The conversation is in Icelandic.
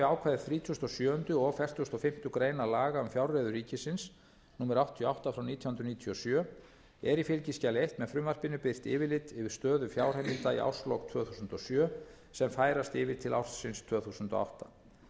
ákvæði þrítugustu og sjöunda og fertugasta og fimmtu grein laga um fjárreiður ríkisins númer áttatíu og átta nítján hundruð níutíu og sjö er í fylgiskjali eins með frumvarpinu birt yfirlit yfir stöðu fjárheimilda í árslok tvö þúsund og sjö sem færast yfir til ársins tvö þúsund og átta